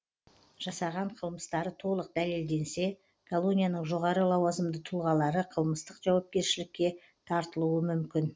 жасаған қылмыстары толық дәлелденсе колонияның жоғары лауазымды тұлғалары қылмыстық жауапкершілікке тартылуы мүмкін